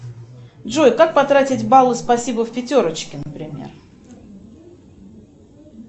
джой как потратить баллы спасибо в пятерочке например